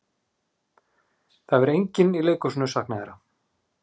Það hefur enginn í leikhúsinu saknað þeirra.